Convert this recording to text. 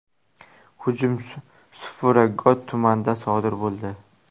Hujum Safura Got tumanida sodir bo‘ldi.